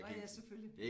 Åh ja selvfølgelig